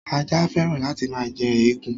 Ajá féràn láti máa jẹ egun.